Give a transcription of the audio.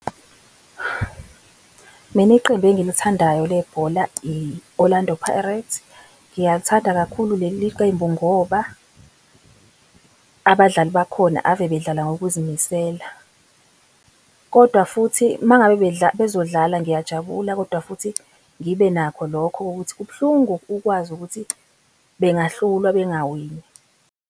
Mina iqembu engilithandayo lebhola, i-Orlando Pirates. Ngiyalithanda kakhulu leli qembu ngoba abadlali bakhona ave bedlala ngokuzimisela. Kodwa futhi uma ngabe bezodlala ngiyajabula, kodwa futhi ngibe nakho lokho okokuthi kubuhlungu ukwazi ukuthi bengahlulwa, bengawini.